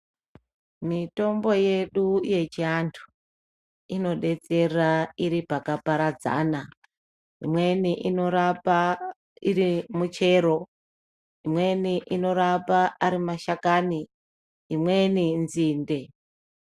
Mitombo yedu yechianthu inodetsera iri pakaparadzana. Imweni inorapa iri michero, imweni inorapa ari mashakani imweni nzinde.